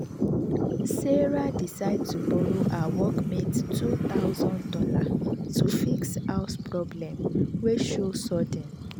sarah decide to borrow her workmate two thousand dollars to fix house problem wey show sudden